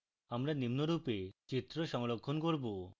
আমরা নিম্নরূপে চিত্র সংরক্ষণ করব